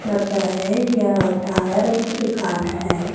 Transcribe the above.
लगता हैं यह टायरों की दुकान हैं।